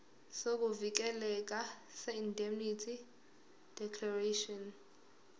sokuvikeleka seindemnity declaration